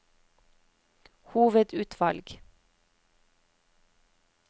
hovedutvalg